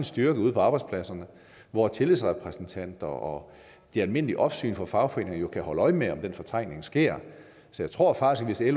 styrke ude på arbejdspladserne hvor tillidsrepræsentanter og de almindelige opsyn fra fagforeninger jo kan holde øje med om den fortrængning sker så jeg tror faktisk at